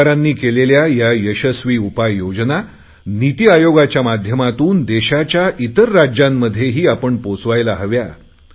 राज्य सरकारांनी केलेल्या या यशस्वी उपाययोजना निती आयोगाच्या माध्यमातून देशाच्या इतर राज्यांमध्येही आपण पोहोचवायला हव्यात